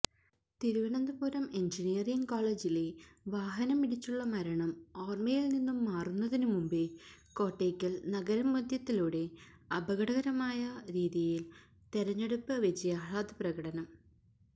Thiruvananthapuram engineering കോളേജിലെ വാഹനമിടിച്ചുള്ള മരണം ഓര്മ്മയില് നിന്നും മാറുന്നതിനു മുമ്പേ കോട്ടയ്ക്കല് നഗരമധ്യത്തിലൂടെ അപകടകരമായ രീതിയില് തെരഞ്ഞെടുപ്പ് വിജയാഹ്ലാദപ്രകടനം